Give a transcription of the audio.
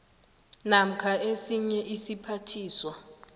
namkha esinye isiphathiswa